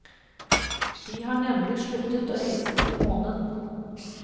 Vi har nemlig sluttet å reise til månen.